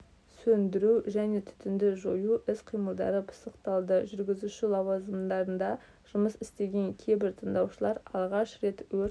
сөндіру және түтінді жою іс-қимылдары пысықталды жүргізуші лауазымдарында жұмыс істеген кейбір тыңдаушылар алғаш рет өрт